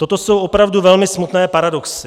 Toto jsou opravdu velmi smutné paradoxy.